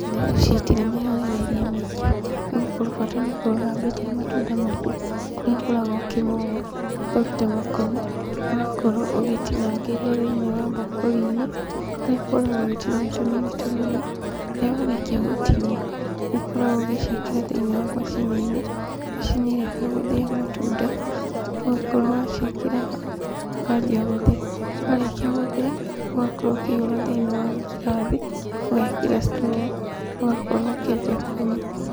Irio ici itirĩ mĩharĩrĩrie mĩingĩ, nĩgũkorwo bata nĩ ũkorwo ũthambĩtie matunda maku, kũrĩa ũkoragwo ũkĩmoa, ũkaruta makoni, ũgakorwo ũgĩtinangĩria thĩiniĩ wa mbakũri-inĩ, harĩa ũkoragwo ũgĩtinia tũnini tũnini, rĩrĩa warĩkia gũtinia, nĩũkoragwo ũgĩciĩkĩra thĩiniĩ wa macini-inĩ, macini ĩrĩa ya gũthĩa matunda, ũgakorwo waciĩkĩra hau, ũkanjia gũthĩa, warĩkia gũthĩa, ũgakorwo ũkĩihĩra thĩinĩ wa ngirathi, ũgekĩra straw ũgakorwo ũkĩanjia kũnyua.